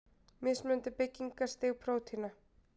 Mismunandi byggingarstig prótína.